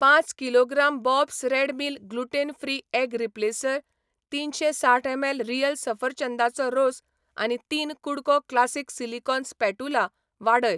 पांच kilogram Bob's red mill gluten free egg replacer, तीनशें साठ एमएल रियल सफरचंदाचो रोस आनी तीन कुडको क्लासिक सिलिकॉन स्पॅटुला वाडय.